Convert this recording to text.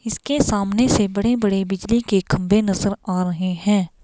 इसके सामने से बड़े-बड़े बिजली के खंबे नजर आ रहे हैं.